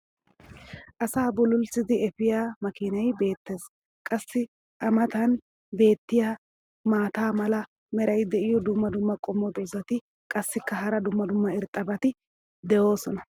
asaa bullulissidi eppiya makkiinay beetees. qassi a matan beetiya maata mala meray diyo dumma dumma qommo dozzati qassikka hara dumma dumma irxxabati doosona.